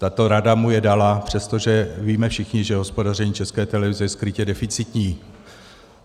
Tato rada mu je dala, přestože víme všichni, že hospodaření České televize je skrytě deficitní.